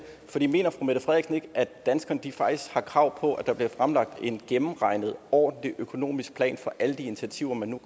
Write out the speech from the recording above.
for ikke at danskerne faktisk har krav på at der bliver fremlagt en gennemregnet og ordentlig økonomisk plan for alle de initiativer man